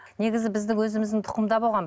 негізі біздің өзіміздің тұқымда болған